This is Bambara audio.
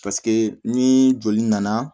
Paseke ni joli nana